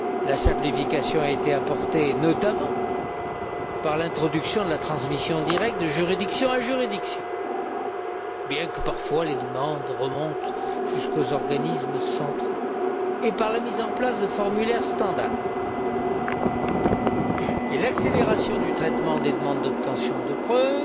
La simplification a été apportée, notamment, par l'introduction de la transmission directe de juridiction à juridiction bien que, parfois, les demandes remontent jusqu'aux organismes centraux et par la mise en place de formulaires standard. S'agissant de l'accélération du traitement des demandes d'obtention des preuves,